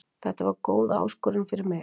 Þetta var góð áskorun fyrir mig.